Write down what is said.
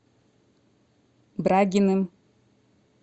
брагиным